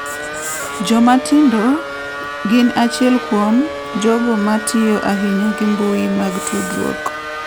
Joma tindo gin achiel kuom jogo ma tiyo ahinya gi mbui mag tudruok.